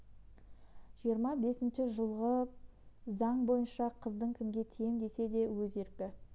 жиырма бесінші жылғы заң бойынша қыздың кімге тием десе де өз еркі